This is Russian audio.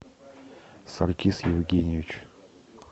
саркис евгеньевич